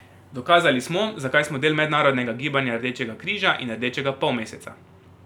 Dokazali smo, zakaj smo del Mednarodnega gibanja Rdečega križa in Rdečega polmeseca.